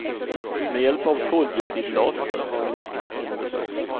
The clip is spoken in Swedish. Med hjälp av koldioxidlaser har han blivit kvitt sina besvär.